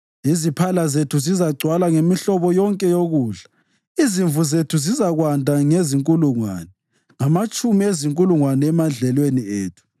Iziphala zethu zizagcwala ngemihlobo yonke yokudla. Izimvu zethu zizakwanda ngezinkulungwane, ngamatshumi ezinkulungwane emadlelweni ethu;